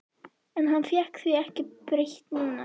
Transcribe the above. En hann fékk því ekki breytt núna.